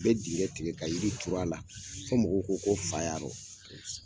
A be digin tigɛ ka jiri tura a la fɔ mɔgɔw ko ko fa yarɔ